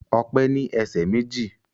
Ọpẹ́ ní ẹsẹ̀ méjì